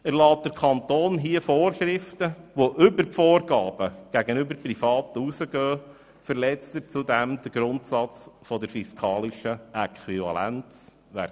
Erlässt der Kanton hier Vorschriften, welche über die Vorgaben gegenüber Privaten hinausgehen, verletzt er den Grundsatz der fiskalischen Äquivalenz «